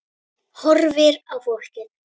Horfir á fólkið.